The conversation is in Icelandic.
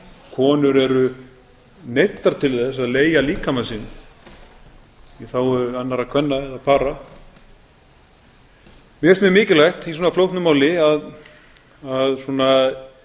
konur eru neyddar til að leigja líkama sinn í þágu annarra kvenna eða para mér finnst mjög mikilvægt í svona flóknu máli að